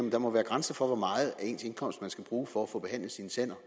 at der må være grænser for hvor meget af ens indkomst man skal bruge for at få behandlet sine tænder